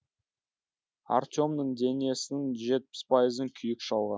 артемнің денесінің жетпіс пайызын күйік шалған